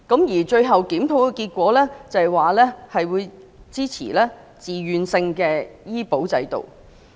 而最新的檢討結果顯示，市民支持自願性醫保制度。